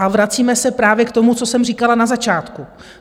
A vracíme se právě k tomu, co jsem říkala na začátku.